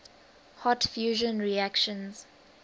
hot fusion reactions